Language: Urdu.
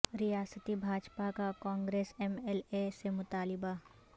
ریاستی بھاجپا کا کانگریس ایم ایل اے سے مطالبہ